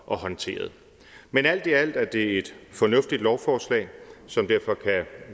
og håndteret men alt i alt er det et fornuftigt lovforslag som derfor kan